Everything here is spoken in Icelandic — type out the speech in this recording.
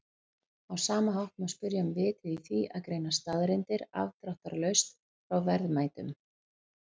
Á sama hátt má spyrja um vitið í því að greina staðreyndir afdráttarlaust frá verðmætum.